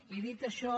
i dit això